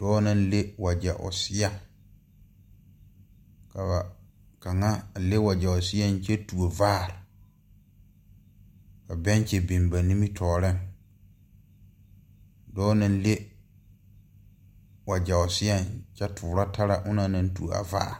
Dɔɔ naŋ le wagyɛ o seɛŋ ka ba kaŋa a le wagyɛ o seɛŋ kyɛ tuo vaare ka bɛnkyi biŋ ba nimitooreŋ dɔɔ naŋ le wagyɛ o seɛŋ kyɛ toorɔ tara onɔŋ naŋ tuo a vaare.